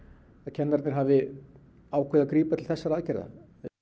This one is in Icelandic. kennararnir hafi ákveðið að grípa til þessara aðgerða